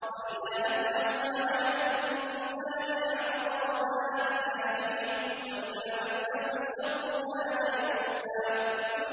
وَإِذَا أَنْعَمْنَا عَلَى الْإِنسَانِ أَعْرَضَ وَنَأَىٰ بِجَانِبِهِ ۖ وَإِذَا مَسَّهُ الشَّرُّ كَانَ يَئُوسًا